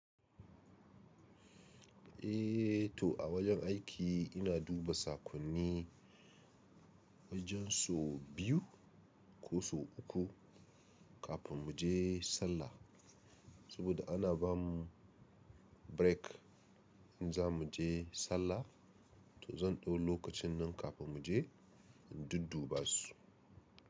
Eh to a wajen aiki ina duba sakonni wajen so biyu ko so uku kafin mu je sallah. Saboda ana ba mu break in za mu je sallah to zan ɗau lokacin nan kafin mu je in dudduba su.